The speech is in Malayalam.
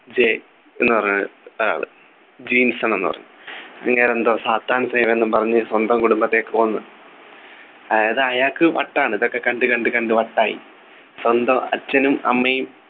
ജെ എന്നു പറഞ്ഞൊരു ആള് ജിൻസൺ എന്ന് പറയും അങ്ങേരെന്തോ സാത്താൻ സേവ എന്നു പറഞ്ഞ് സ്വന്തം കുടുംബത്തെ കൊന്നു അതായത് അയാൾക്ക് വട്ടാണ് ഇതൊക്കെ കണ്ടു കണ്ടു കണ്ട് വട്ടായി സ്വന്തം അച്ഛനും അമ്മയും